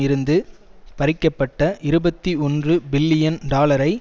இருந்து பறிக்க பட்ட இருபத்தி ஒன்று பில்லியன் டாலரை